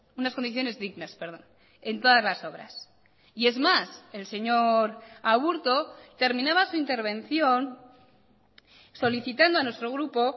unas condiciones dignas en todas las obras y es más el señor aburto terminaba su intervención solicitando a nuestro grupo